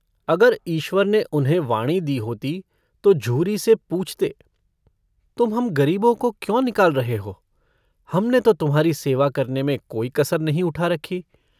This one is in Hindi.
अगर ईश्वर ने उन्हें वाणी दी होती तो झूरी से पूछते - तुम हम गरीबों को क्यों निकाल रहे हो? हमने तो तुम्हारी सेवा करने में कोई कसर नहीं उठा रखी।